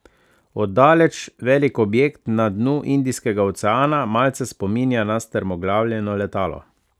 Od daleč velik objekt na dnu Indijskega oceana malce spominja na strmoglavljeno letalo.